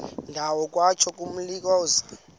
ndawo kwatsho ngomlilokazi